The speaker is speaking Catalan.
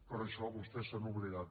però d’això vostès se n’han oblidat